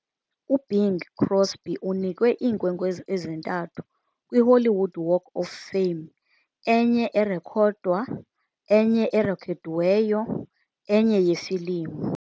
UBing Crosby unikwe iinkwenkwezi ezintathu kwiHollywood Walk of Fame- enye erekhodwa, enye erekhodiweyo, enye yeefilimu.